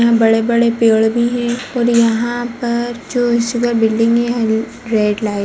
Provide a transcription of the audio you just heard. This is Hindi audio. यहाँ बड़े-बड़े पेड़ भी है और यहाँ पर जो बिल्डिंग है। Red light --